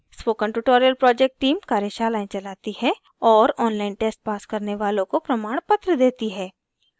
spoken tutorial project team कार्यशालाएं चलाती है और online test pass करने वालों को प्रमाणपत्र देती हैं